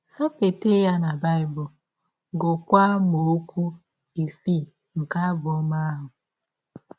Sapeta ya na Bible, gụọkwa amaọkwu ise nke abụ ọma ahụ.